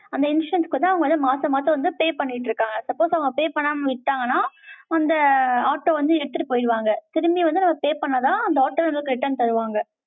அந்த insurance க்கு வந்து, அவங்க வந்து, மாசம், மாசம் வந்து, pay பண்ணிட்டு இருக்காங்க. suppose அவங்க pay பண்ணாம விட்டாங்கன்னா, அந்த auto வந்து, எடுத்துட்டு போயிடுவாங்க. திரும்பி வந்து, நம்ம pay பண்ணா தான், அந்த auto வந்து, return தருவாங்க